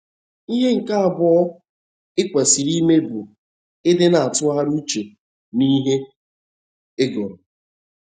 Ihe nke abụọ i kwesịrị ime bụ ịdị na - atụgharị uche n’ihe ị gụrụ.